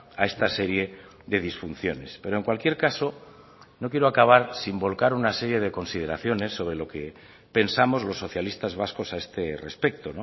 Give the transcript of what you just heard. a esta serie de disfunciones pero en cualquier caso no quiero acabar sin volcar una serie de consideraciones sobre lo que pensamos los socialistas vascos a este respecto